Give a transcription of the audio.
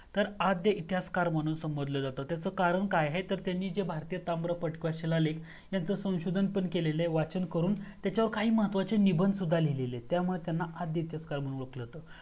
तर आद्य इतिहासकार म्हणून संबोधलं जातं तर त्याच कारण काय आहे तर त्यांनी भारतीय ताम्र पत्र शिला लेख यांचं संशोधन पण केलेल आहे वाचन करून त्याच्यावर काही महत्वाचे निबंध सुद्धा लिहिले आहेत त्यामुळे त्यांना आद्य इतिहासकार म्हणून ओळखलं जातं